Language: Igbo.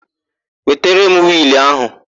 Wetara m wịịlụ áhụ̀!